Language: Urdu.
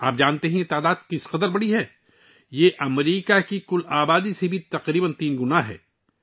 کیا آپ جانتے ہیں کہ یہ اعداد و شمار کتنے بڑے ہیں؟ یہ امریکہ کی کل آبادی سے تقریباً تین گنا زیادہ ہے